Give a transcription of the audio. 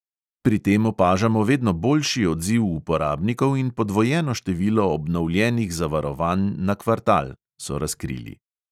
"Pri tem opažamo vedno boljši odziv uporabnikov in podvojeno število obnovljenih zavarovanj na kvartal," so razkrili.